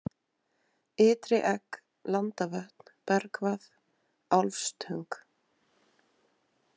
Ytri-Egg, Landavötn, Bergvað, Álfsstöng